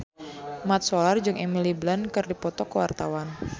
Mat Solar jeung Emily Blunt keur dipoto ku wartawan